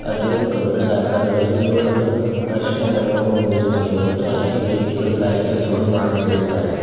ಅದು ಕಬ್ಬಿಣದ ಆಕಾರವಾಗಿದ್ದು ಅದು ಅರಿಶಿಣ ಬಣ್ಣವನ್ನು ಹೊಂದಿರುತ್ತದೆ ಮತ್ತು ಅಲ್ಲಿ ವ್ಯಕ್ತಿಗಳು ಕಾರ್ಯ ಕೆಲಸವನ್ನು ಮಾಡುತ್ತಿರುತ್ತಾರೆ.